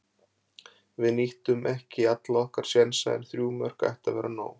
Við nýttum ekki alla okkar sénsa en þrjú mörk ættu að vera nóg.